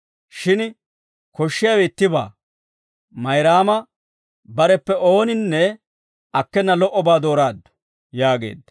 Shin koshshiyaawe ittibaa; Mayraama bareppe ooninne akkena lo"obaa dooraaddu» yaageedda.